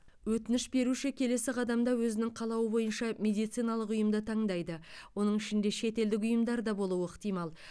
өтініш беруші келесі қадамда өзінің қалауы бойынша медициналық ұйымды таңдайды оның ішінде шетелдік ұйымдар да болуы ықтимал